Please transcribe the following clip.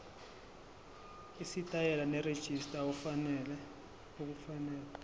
isitayela nerejista okufanele